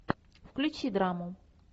включи драму